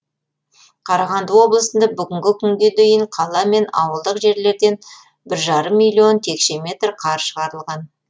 қарағанды облысында бүгінгі күнге дейін қала мен ауылдық жерлерден бір жарым миллион текше метр қар шығарылған